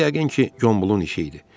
Bu yəqin ki, Gombolun işi idi.